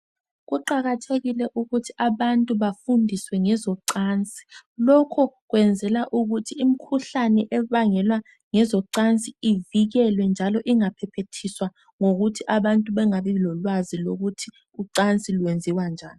kuqakathekile ukuthi abantu bafundiswe ngezocansi lokhu kwenzelwa ukuthi imkhuhlane ebangelwa ngezocansi ivikelwe njalo ingaphephethiswa ngokuthi abantu bengabi lolwazi lokuthi ucansi lwenziwa njani